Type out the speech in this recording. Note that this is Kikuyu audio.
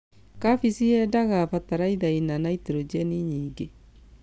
Kabeci yendaga bataraitha ĩna naitrogebi nyingĩ.